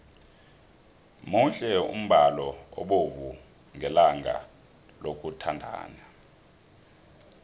muhle umbalo obovu ngelanga labathandani